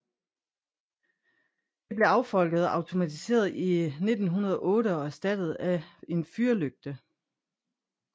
Det blev affolket og automatiseret i 1908 og erstattet af en fyrlygte